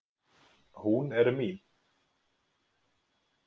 Hún er mín